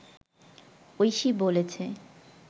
ঐশী বলেছে